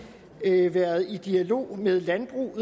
været i dialog med landbruget